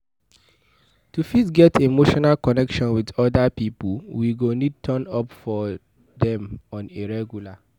To fit get emotional connection with oda pipo we go need turn up for dem on a regular